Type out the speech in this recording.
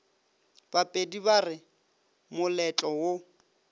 bapedi ba re moletlo wo